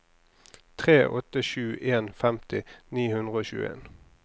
tre åtte sju en femti ni hundre og tjueen